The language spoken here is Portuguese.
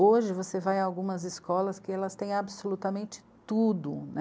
Hoje você vai a algumas escolas que elas têm absolutamente tudo, né.